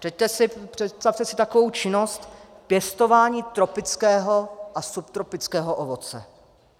Představte si takovou činnost pěstování tropického a subtropického ovoce.